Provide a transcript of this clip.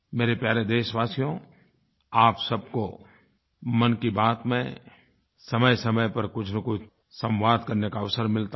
मेरे प्यारे देशवासियो आप सब को मन की बात में समयसमय पर कुछनकुछ संवाद करने का अवसर मिलता है